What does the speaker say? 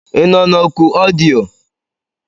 Ị nọ na oku ọdịyo?